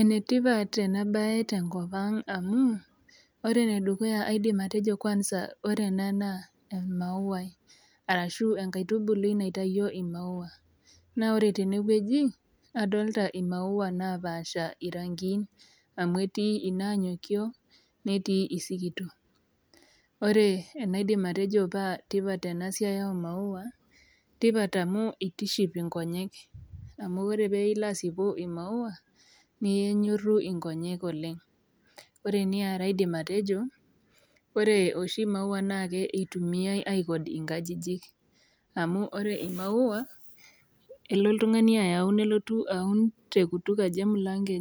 Enetipat enabae tenkopang amu ore enedukuya kwanza naa aidim atejo ,ore ena naa emauai arashu enkaitubului naitayio imaua naa ore tenewueji adolta imaua napasha irankin amu etii inanyokio netii isikitok . Ore enaidim atejo paa tipat enasiai omaua , enetipat amu itiship inkonyek amu ore pilo asipu imaua nenyoru inkonyek oleng . Ore eniare aidim atejo , ore oshi imaua naa kitumiay aikod inkajijik , amu ore oshi imaua elo oltungani aun nelotu aun tekutuk aji emulango